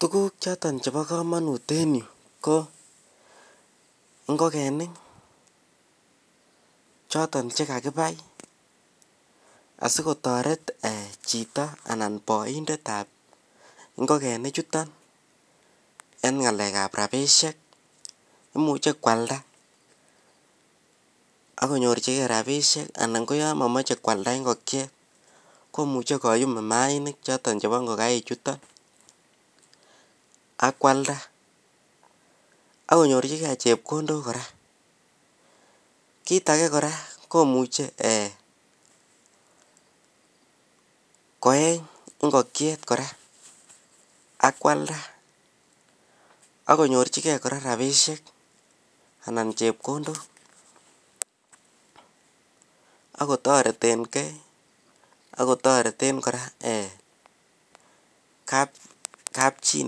Tuguk choton Cheba kamanut en ireyu ko ingogenik choton chekakibai asikotaret Chito anan baindet ab ingogenik chuton en ngalek ab rabishek imuche kwalda akinyorchigei rabinik koyamamache kwalda ingokiet komuche koyu imainik choton choton chebo ingokaik chuton akwalda akinyorchigei chepkondok koraa kit age koraa komuche koyeny ingokiet koraa akwalda akinyorchigei rabinik anan chepkondok akotareten gei akotaret kabchi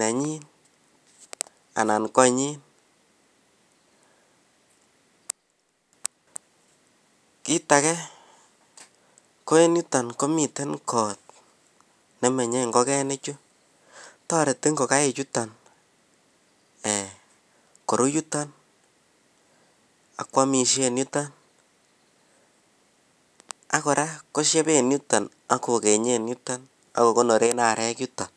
nanyin anan koanyin kit age en yuton komiten kot nemenye ingogenik Chu tareti ingokaik chuton korubyuton akwamishen yuton akoraa kosheben yuton akokenyen yuton akokonoren arok yuton